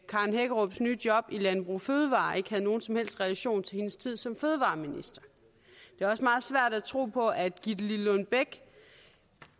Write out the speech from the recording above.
karen hækkerups nye job i landbrug fødevarer ikke havde nogen som helst relation til hendes tid som fødevareminister det er også meget svært at tro på at gitte lillelund bech